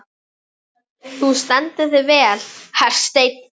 Þú stendur þig vel, Hersteinn!